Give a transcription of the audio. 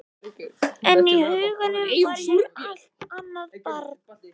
En í huganum var ég allt annað barn.